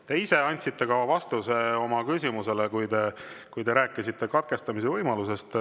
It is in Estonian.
Te ise andsite ka vastuse oma küsimusele, kui te rääkisite katkestamise võimalusest.